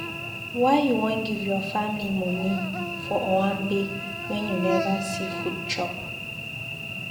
Why you wan give your family moni for owambe wen you neva see food chop?